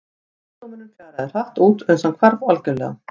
Sjúkdómurinn fjaraði hratt út uns hann hvarf algjörlega.